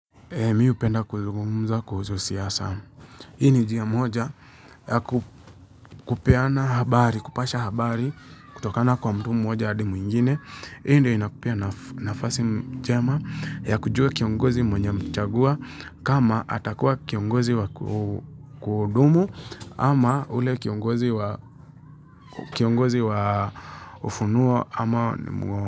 Mi upenda kuzungumza kuhusu siasa. Hini ni njia moja ya ku kupeana habari, kupasha habari kutokana kwa mtu mmoja hadi mwingine. Hi ndio inakupea naf nafasi njema ya kujua kiongozi mwenye umechagua kama atakuwa kiongozi wa ku kudumu ama ule kiongozi wa kiongozi wa ufunuo ama mwo.